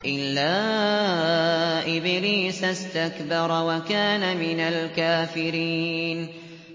إِلَّا إِبْلِيسَ اسْتَكْبَرَ وَكَانَ مِنَ الْكَافِرِينَ